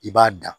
I b'a da